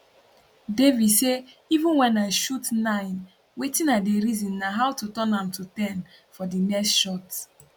devi say even wen i shoot nine wetin i dey reason na how to turn am to ten for di next shot